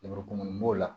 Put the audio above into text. Lemurukumuni b'o la